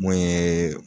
Mun ye